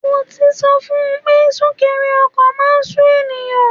Mo ti sọ fun pé súnkẹrẹ ọkọ̀ máà ń sú ènìyàn.